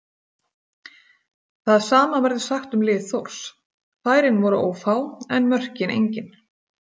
Það sama verður sagt um lið Þórs, færin voru ófá en mörkin engin.